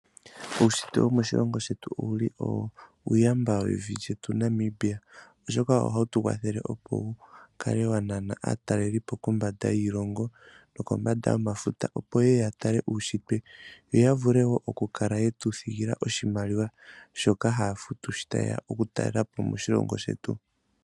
Uushitwe womoshilongo shetu owuli uuyamba wevi lyetu Namibia oshoka ohawu tu kwathele opo wukale wanana aatalelipo kombanda yiilongo nokombanda yomafuta opo yeye yatale uushitwe yoyavule woo okukala yetu thigilapo oshimaliwa shoka haya futu shota yeya okutalelapo moshilongo shetu.